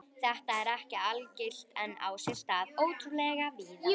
Þetta er ekki algilt en á sér stað ótrúlega víða.